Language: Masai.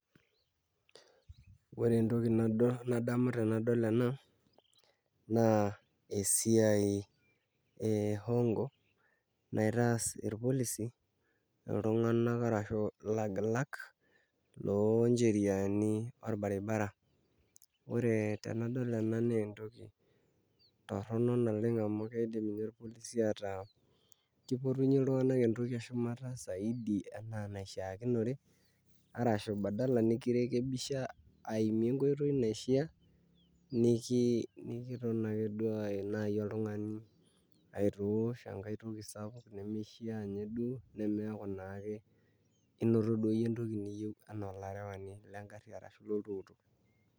Ore entoki nadamu tenadol ena naa esiai e hongo naitaas irpolisi iltung'anak ashu ilagilak looncheriani orbaribara ore tenadol ena naa enkoitoi torrono amu kedim ninye irpolisi ataa kipotunyie iltung'anak entoki eshumata saidi enaa enaishiakinore arashu badala nikirekebisha aimie enkoitoi naishiaa nekiton akeduo naai oltung'ani aitoosh enkai toki nemishiaa nemeeku naake inoto duo iyie entoki niyieu enaa olarewani lengarri ashu loltukutuk.